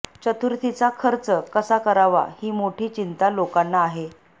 चतुर्थीचा खर्च कसा करावा ही मोठी चिंता लोकांना आहे